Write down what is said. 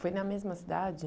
Foi na mesma cidade?